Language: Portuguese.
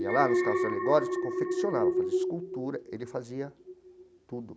Ia lá nos carros alegóricos, confeccionava, fazia escultura, ele fazia tudo.